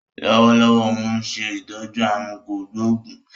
Lọ́wọ́lọ́wọ́ óun ṣe ìtọ́jú aàrùn kò gbóògún